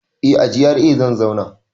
Eh a GRA zan zauna